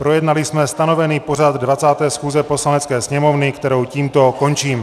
Projednali jsme stanovený pořad 20. schůze Poslanecké sněmovny, kterou tímto končím.